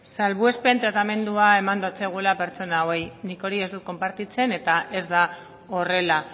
salbuespen tratamendua eman dotzegula pertsona hauei nik hori ez dut konpartitzen eta ez da horrela